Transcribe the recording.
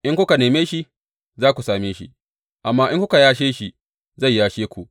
In kuka neme shi, za ku same shi, amma in kuka yashe shi, zai yashe ku.